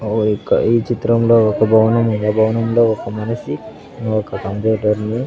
ఆ యొక్క ఈ చిత్రంలో ఒక భవనముంది ఆ భవనంలో ఒక మనిషి ఒక కంప్యూటర్ని--